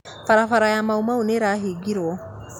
Barabara ya Maumau nĩĩrahingirwo